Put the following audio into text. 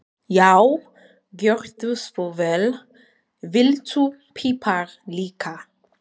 Já, gjörðu svo vel. Viltu pipar líka?